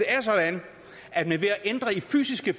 er sådan at man ved at ændre de fysiske